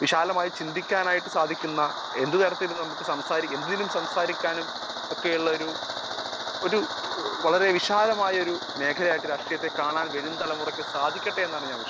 speaker 1 വിശാലമായിട്ട് ചിന്തിക്കാൻ സാധിക്കുന്ന എന്തിനും സംസാരിക്കാനും ഉള്ള ഒരു വളരെ വിശാലമായ ഒരു മേഖല ആയിട്ട് രാഷ്ട്രീയത്തെ കാണാൻ വരും തലമുറക്ക് സാധിക്കട്ടെ എന്നാണ് ഞാൻ വിശ്വസിക്കുന്നത്